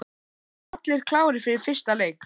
Verða allir klárir fyrir fyrsta leik?